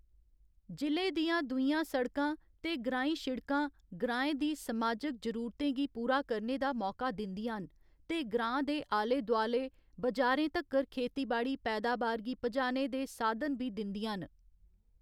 जि'ले दियां दूइयां सड़कां ते ग्राईं शिड़कां ग्राएं दी समाजक जरूरतें गी पूरा करने दा मौका दिंदियां न ते ग्रांऽ दे आले दुआले बाजारें तक्कर खेतीबाड़ी पैदाबार गी पजाने दे साधन बी दिंदियां न।